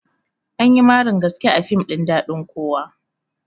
Anyi marin gaske a fim ɗin daɗin kowa